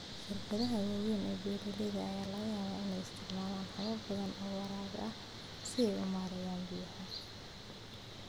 Shirkadaha waaweyn ee beeralayda ayaa laga yaabaa inay isticmaalaan habab badan oo waraab ah si ay u maareeyaan biyaha.